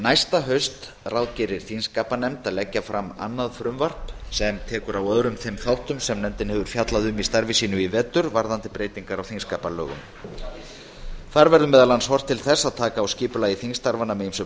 næsta haust ráðgerir þingskapanefnd að leggja fram annað frumvarp sem tekur á öðrum þeim þáttum sem nefndin hefur fjallað um í vetur varðandi breytingar á lögum um þingsköp alþingis þar verður meðal annars horft til þess að taka á skipulagi þingstarfanna með ýmsum